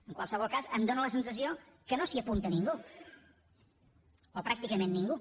en qualsevol cas em fa la sensació que no s’hi apunta ningú o pràcticament ningú